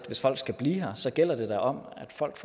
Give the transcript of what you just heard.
hvis folk skal blive her sigt gælder det om at folk